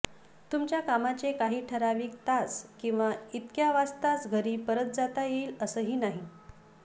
तुमच्या कामाचे काही ठराविक तास किंवा इतक्या वाजताच घरी परत जाता येईल असंही नाही